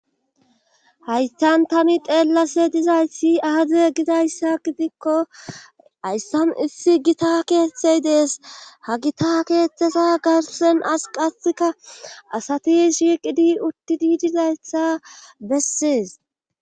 haysan tani xeellase dizaysi ahazee gidayssa gidikko hayssan issi gita keeththey dees ha gita keeththesa garsen as qasika asati shiiqidi utti di dizayssa bessees